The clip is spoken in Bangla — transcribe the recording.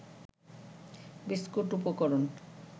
বিস্কুট উপকরণ